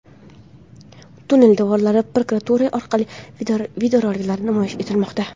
Tunnel devorlarida proyektorlar orqali videoroliklar namoyish etilmoqda.